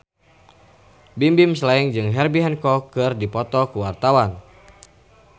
Bimbim Slank jeung Herbie Hancock keur dipoto ku wartawan